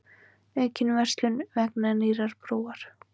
Aukin verslun vegna nýrrar brúar